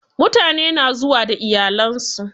Mutane na zuwa da iyalan su.